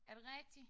Er det rigtigt?